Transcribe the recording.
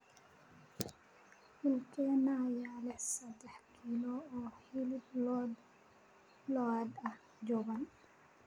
dukaankee ayaa leh saddex kiilo oo hilib lo'aad ah oo jaban